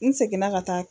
N seginna ka taa